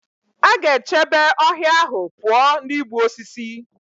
A ga-echebe ọhịa ahụ pụọ na igbu osisi.